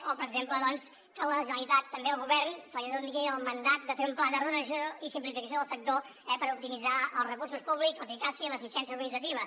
o per exemple doncs que a la generalitat també al govern se li doni el mandat de fer un pla d’ordenació i simplificació del sector per optimitzar els recursos públics l’eficàcia i l’eficiència organitzativa